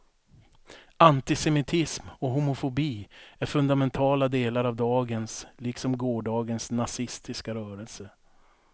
Antisemitism och homofobi är fundamentala delar av dagens liksom gårdagens nazistiska rörelse.